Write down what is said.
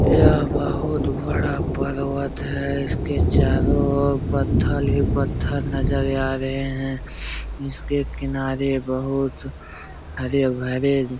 यह बहुत बड़ा पर्वत है इसके चारो ओर पत्थल ही पत्थल नज़ल या रहे हैं इसके किनारे बहुत हरे-भरे --